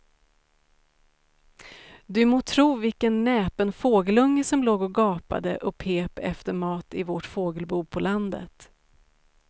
Du må tro vilken näpen fågelunge som låg och gapade och pep efter mat i vårt fågelbo på landet.